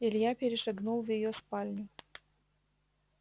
илья перешагнул в её спальню